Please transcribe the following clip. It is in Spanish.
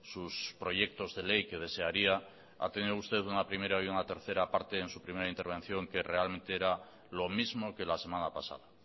sus proyectos de ley que desearía ha tenido usted una primera y una tercera parte en su primera intervención que realmente era lo mismo que la semana pasada